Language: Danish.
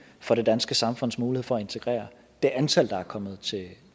for det danske samfunds mulighed for at integrere det antal der er kommet